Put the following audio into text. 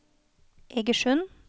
Egersund